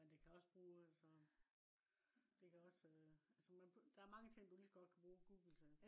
men det kan også bruge så det kan også. altså der er mange ting du ligeså godt kan bruge google til